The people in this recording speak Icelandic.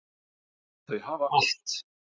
Þau hafa allt.